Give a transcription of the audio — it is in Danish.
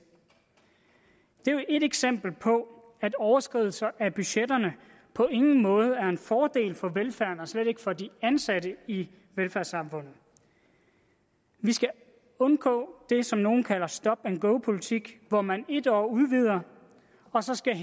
det er et eksempel på at overskridelse af budgetterne på ingen måde er en fordel for velfærden og slet ikke for de ansatte i velfærdssamfundet vi skal undgå det som nogle kalder for stop and go politik hvor man et år udvider og så skal